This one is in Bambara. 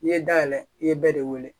N'i ye da yɛlɛ i ye bɛɛ de wele